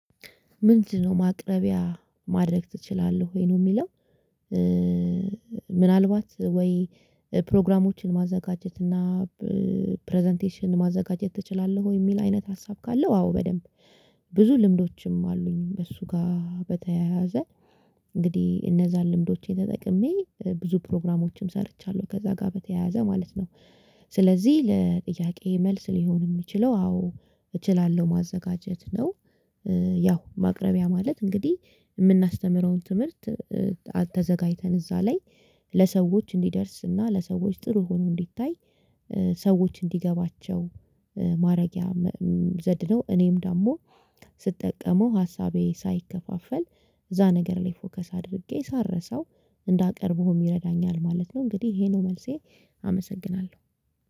"ምንድነው ማቅረቢያ ማድረግ ትችላለህ ወይ?" ነው የሚለው። ምናልባት ወይ ፕሮግራሞችን ማዘጋጀት እና ፕረዘንቴሽን ማዘጋጀት ትችላለህ ወይ የሚል አይነት ሀሳብ ካለው አዎ በደንብ። ብዙ ልምዶችም አሉኝ በሱ ጋር በተያያዘ እንግዲህ እነዛን ልምዶቼን ተጠቅሜ ብዙ ፕሮግራሞችም ሰርቻለሁ ከዛ ጋር በተያያዘ ማለት ነው። ስለዚህ ለጥያቄዬ መልስ ሊሆን የሚችለው አዎ እችላለሁ ማዘጋጀት ነው። ያው ማቅረቢያ ማለት እንግዲህ የምናስተምረውን ትምህርት ተዘጋጅተን እዛ ላይ ለሰዎች እንዲደርስና ለሰዎች ጥሩ ሆኖ እንዲታይ ሰዎች እንዲገባቸው ማረጊያ ዘድ ነው። እኔም ደግሞ ስጠቀመው ሀሳቤ ሳይከፋፈል እዛ ነገር ላይ ፎከስ አድርጌ ሳልረሳው እንዳቀርበውም ይረዳኛል ማለት ነው። እንግዲህ ይሄ ነው መልሴ አመሰግናለሁ።